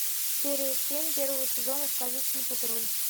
серия семь первого сезона сказочный патруль